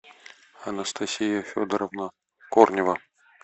анастасия федоровна корнева